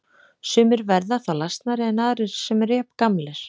Sumir verða þá lasnari en aðrir sem eru jafngamlir.